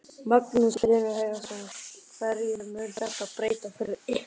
Magnús Hlynur Hreiðarsson: Hverju mun þetta breyta fyrir ykkur?